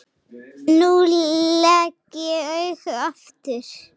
Nú legg ég augun aftur.